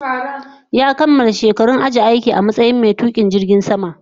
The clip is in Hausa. Ya kamala shekarun ajiye aiki a matsayin mai tukin jirgin sama